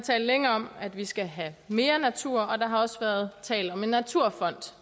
længe talt om at vi skal have mere natur og der har også tidligere været tale om en naturfond